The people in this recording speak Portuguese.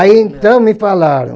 Aí, então, me falaram.